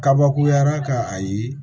Kabakuyara ka a ye